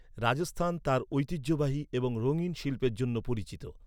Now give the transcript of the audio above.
রাজস্থান তার ঐতিহ্যবাহী এবং রঙিন শিল্পের জন্য পরিচিত।